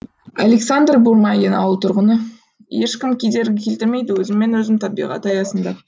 александр бурмагин ауыл тұрғыны ешкім кедергі келтірмейді өзіммен өзім табиғат аясында